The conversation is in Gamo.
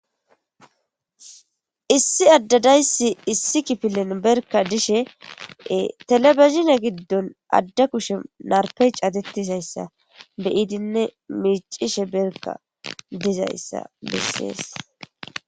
Issi adda dayssi issi kipilen berka dishee telebezhine giddon adda kushe narppey cadettizayssa beyidinne miiccishe berka dizayssa bessees.